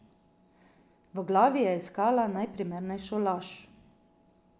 V glavi je iskala najprimernejšo laž.